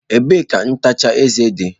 Ebee ka ntacha eze dị?